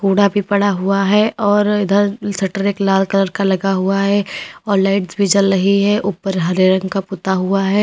कूड़ा भी पड़ा हुआ है और इधर शटर एक लाल कलर का लगा हुआ है और लाइट्स भी जल रही है ऊपर हरे रंग का पुता हुआ है।